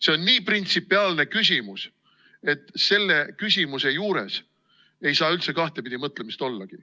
See on nii printsipiaalne küsimus, et selle küsimuse juures ei saa üldse kahtepidi mõtlemist ollagi.